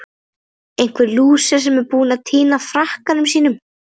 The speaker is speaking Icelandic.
Einhver lúser sem er búinn að týna frakkanum sínum!